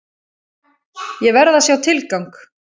Ég verð að sjá tilgang!